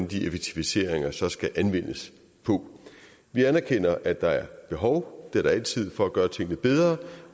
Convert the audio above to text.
de effektiviseringer så skal anvendes på vi anerkender at der er behov det er der altid for at gøre tingene bedre